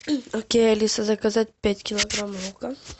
окей алиса заказать пять килограмм лука